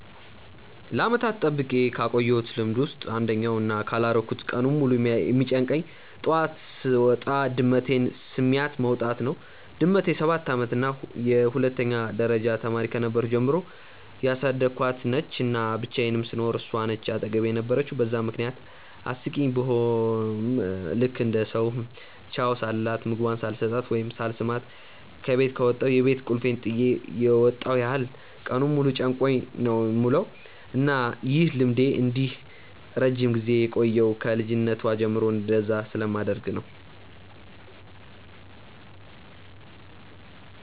ለዓመታት ጠብቄ ካቆየውት ልምድ ውስጥ አንደኛው እና ካላረኩት ቀኑን ሙሉ የሚጨንቀኝ ጠዋት ጠዋት ስወጣ ድመቴን ስሚያት መውጣት ነው። ድመቴ ሰባት አመቷ ነው እና የሁለተኛ ደረጃ ተማሪ ከነበርኩ ጀምሮ ያሳደኳት ነች፤ እና ብቻየንም ስኖር እሷ ነች አጠገቤ የነበረችው በዛም ምክንያት አስቂኝ ቡሆም ልክ እንደ ሰው ቻው ሳልላት፣ ምግቧን ሳልሰጣት ወይም ሳልስማት ከበት ከወጣው የቤት ቁልፌን ጥየ የመጣው ያህል ቀኑን ሙሉ ጨንቆኝ ነው የምውለው። እና ይህ ልምዴ እንዲህ ረጅም ጊዜ የቆየው ከ ልጅነቷ ጀምሮ እንደዛ ስለማደርግ ነው።